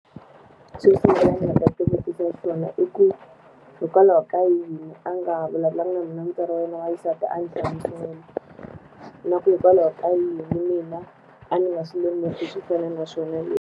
Xo sungula ni nga ta ti vutisa xona i ku hikwalaho ka yini a nga vulavulanga na mina mutswari wa yena wa xisati a ni hlamusela? Na ku hikwalaho ka yini mina a ni nga swi lemuki swo fana na swona leswi?